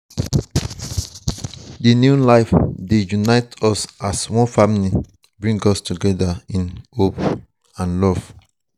di new life dey unite us as one family bring us together in love.